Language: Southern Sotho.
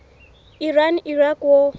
iran iraq war